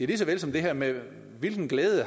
lige så vel som det her med hvilken glæde